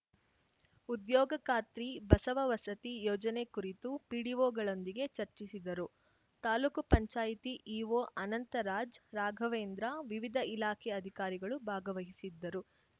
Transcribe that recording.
ಉದ್ಯೋಗ ಖಾತ್ರಿ ಬಸವ ವಸತಿ ಯೋಜನೆ ಕುರಿತು ಪಿಡಿಓಗಳೊಂದಿಗೆ ಚರ್ಚಿಸಿದರು ತಾಲೂಕು ಪಂಚಾಯತಿ ಇಒ ಅನಂತರಾಜ್‌ ರಾಘವೇಂದ್ರ ವಿವಿಧ ಇಲಾಖೆ ಅಧಿಕಾರಿಗಳು ಭಾಗವಹಿಸಿದ್ದರು